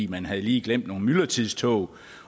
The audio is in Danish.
man havde lige glemt nogle myldretidstog